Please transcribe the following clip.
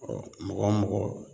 mɔgɔ mɔgɔ